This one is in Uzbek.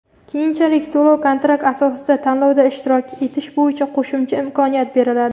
keyinchalik to‘lov-kontrakt asosida tanlovda ishtirok etish bo‘yicha qo‘shimcha imkoniyat beriladi.